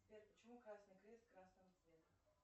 сбер почему красный крест красного цвета